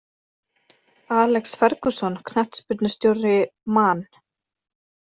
Alex Ferguson knattspyrnustjóri Man